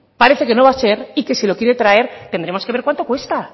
parece que no va a ser y que si lo quiere traer tendremos que ver cuánto cuesta